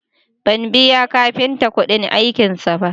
Ban biya kafintan kuɗin aikinsa ba